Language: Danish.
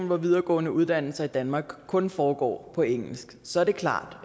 hvor videregående uddannelser i danmark kun foregår på engelsk så er det klart